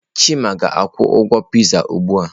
Chima ga-akwụ ụgwọ Pịzaa ugbu a.